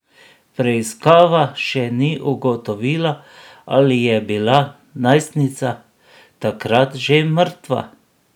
Preiskava še ni ugotovila, ali je bila najstnica takrat že mrtva.